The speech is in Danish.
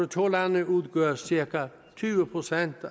to lande udgør cirka tyve procent